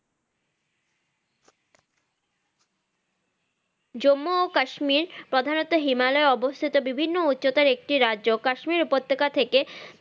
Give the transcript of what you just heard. জম্মু ও কাশ্মীর প্রধানত হিমালয়ে অবস্থিত বিভিন্ন উচ্চতায় একটি রাজ্য কাশ্মীর উপত্যকার থেকে